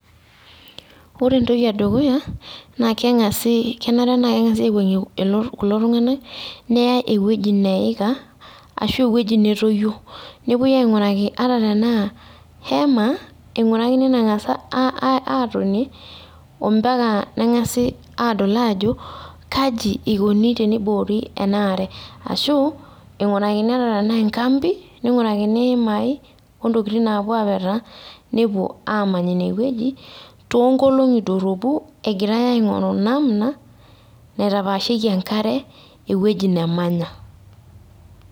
Ore entoki edukuya naa kenare neng'asi aiwuang'ie kulo tung'anak neyai ewueji neika ashuu ewueji netoyio nepuoi aing'uraki ehema atatenaa keng'as aatonie nedoli aajo eikoni teniboori enaare ashuu eing'urakini enkambi oimaai naapuo aapetaa toonkolongi doropu egirai aing'oru namna naitapaashieki enkare ewueji namanya